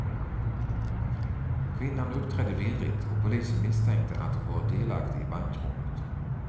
Kvinnan uppträdde virrigt och polisen misstänkte att hon varit delaktig i bankrånet.